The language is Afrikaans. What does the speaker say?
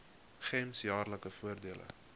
gems jaarlikse voordele